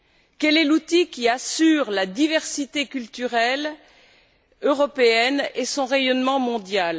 Quel est l'outil qui assure la diversité culturelle européenne et son rayonnement mondial?